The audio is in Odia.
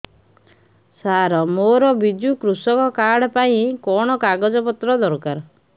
ସାର ମୋର ବିଜୁ କୃଷକ କାର୍ଡ ପାଇଁ କଣ କାଗଜ ପତ୍ର ଦରକାର